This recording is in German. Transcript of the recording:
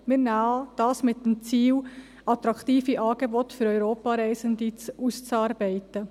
wir nehmen an, mit dem Ziel, attraktive Angebote für Europareisende auszuarbeiten.